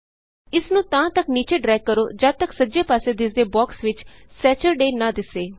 ਇਸ ਨੂੰ ਤਾਂ ਤਕ ਨੀਚੇ ਡਰੈਗ ਕਰੋ ਜਦ ਤਕ ਸੱਜੇ ਪਾਸੇ ਦਿੱਸਦੇ ਬਾਕਸ ਵਿਚ ਸੈਚਰਡੇ ਨਾ ਦਿੱਸੇ